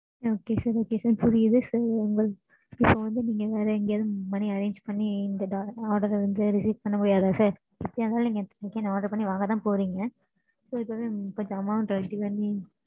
ஆமாம் mam